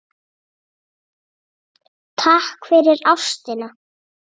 Takk fyrir ástina.